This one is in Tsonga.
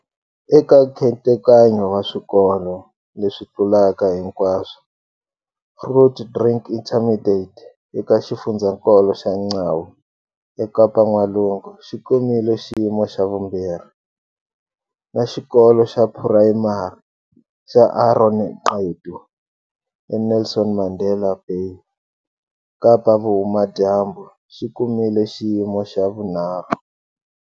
Eka nkhetekanyo wa Swikolo leswi Tlulaka Hinkwaswo, Grootdrink Intermediate, eka xifundzatsongo xa Mgcawu, eKapa-N'walungu, xi kumile xiyimo xa vumbirhi, na Xikolo xa Phurayimari xa Aaron Gqedu, eNelson Mandela Bay, Kapa-Vuhumadyambu, xi kumile xiyimo xa vunharhu.